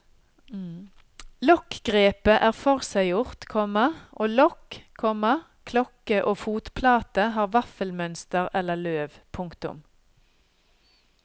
Lokkgrepet er forseggjort, komma og lokk, komma klokke og fotplate har vaffelmønster eller løv. punktum